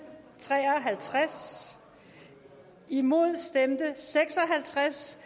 tre og halvtreds imod stemte seks og halvtreds